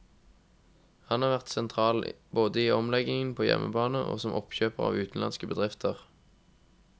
Han har vært sentral både i omleggingen på hjemmebane og som oppkjøper av utenlandske bedrifter.